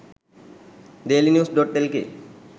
dailynews.lk